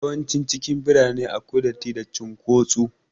Yawancin cikin birane akwai datti da cin kotsu